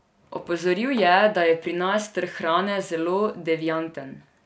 Opozoril je, da je pri nas trg hrane zelo devianten.